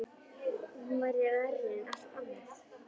Hún væri verri en allt annað.